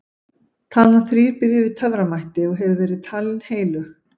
talan þrír býr yfir töframætti og hefur verið talin heilög